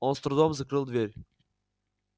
он с трудом закрыл дверь